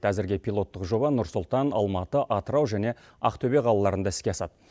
әзірге пилоттық жоба нұрсұлтан алматы атыру және ақтөбе қалаларында іске асады